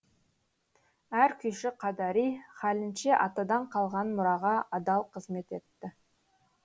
әр күйші қадари хәлінше атадан қалған мұраға адал қызмет етті